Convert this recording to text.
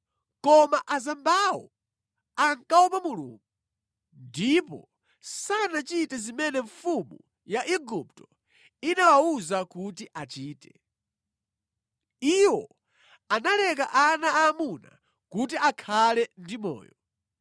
Koma azambawo ankaopa Mulungu ndipo sanachite zimene mfumu ya Igupto inawawuza kuti achite. Iwo analeka ana aamuna kuti akhale ndi moyo.